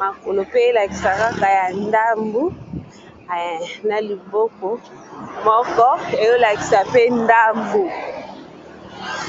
makolo pe elakisa kaka ya ndambu na liboko moko eolakisa pe ndambu.